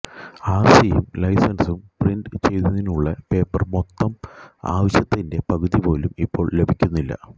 ആര്സിയും ലൈസന്സും പ്രിന്റ് ചെയ്യുന്നതിനുള്ള പേപ്പര് മൊത്തം ആവശ്യത്തിന്റെ പകുതി പോലും ഇപ്പോള് ലഭിക്കുന്നില്ല